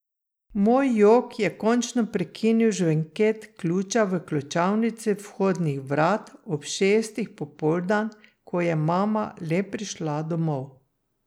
Moj jok je končno prekinil žvenket ključa v ključavnici vhodnih vrat ob šestih popoldan, ko je mama le prišla domov.